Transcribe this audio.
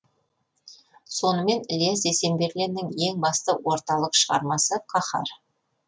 сонымен ілияс есенберлиннің ең басты орталық шығармасы қаһар